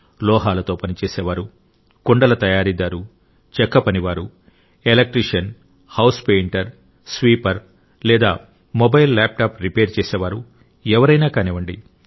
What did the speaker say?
లోహాలతో పని చేసేవారు కుండల తయారీదారు చెక్క పనివారు ఎలక్ట్రీషియన్ హౌస్ పెయింటర్ స్వీపర్ లేదా మొబైల్ల్యాప్టాప్ రిపేర్ చేసేవారు ఎవరైనా కానివ్వండి